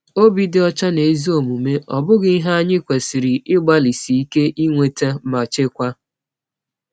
Obi dị ọcha na ezi omume, ọ̀ bụghị ihe anyị kwesịrị ịgbalịsi ike nweta ma chekwaa?